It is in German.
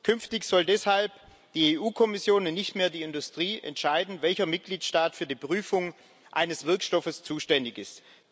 Künftig soll deshalb die EU Kommission und nicht mehr die Industrie entscheiden, welcher Mitgliedstaat für die Prüfung eines Wirkstoffs zuständig ist.